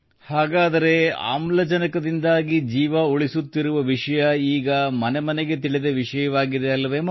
ಹಾಗಾದರೆ ಆಮ್ಲಜನಕದಿಂದಾಗಿ ಜೀವ ಉಳಿಸುತ್ತಿರುವ ವಿಷಯ ಈಗ ಮನೆ ಮನೆಗೆ ತಿಳಿದ ವಿಷಯವಾಗಿದೆಯಲ್ಲವೇ ಮಗು